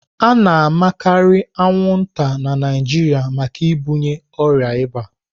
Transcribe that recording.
A na-amakarị anwụnta na Naịjirịa maka ibunye ọrịa ịba.